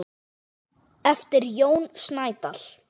eftir Jón Snædal.